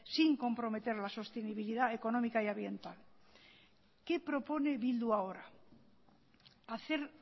sin comprometer la sostenibilidad económica y ambiental qué propone bildu ahora hacer